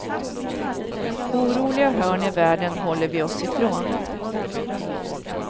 Oroliga hörn i världen håller vi oss ifrån.